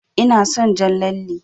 Ina son jan lalle.